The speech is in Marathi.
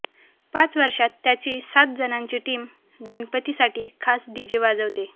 पाच वर्षात त्याची सात जणांची टीम गणपतीसाठी खास डीजे वाजवते